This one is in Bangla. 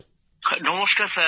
অম্লানঃ নমস্কার স্যার